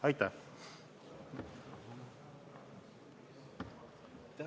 Aitäh!